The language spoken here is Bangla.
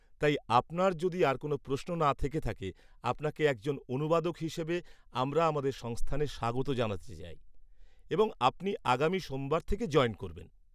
-তাই আপনার যদি আর কোন প্রশ্ন না থেকে থাকে আপনাকে একজন অনুবাদক হিসেবে আমরা আমাদের সংস্থানে স্বাগত জানাতে চাই এবং আপনি আগামী সোমবার থেকে জয়েন করবেন।